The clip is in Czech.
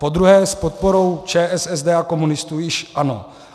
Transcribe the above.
Podruhé s podporu ČSSD a komunistů již ano.